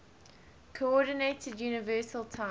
coordinated universal time